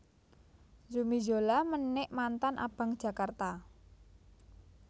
Zumi Zola menik mantan Abang Jakarta